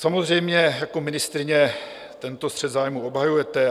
Samozřejmě, jako ministryně tento střet zájmů obhajujete.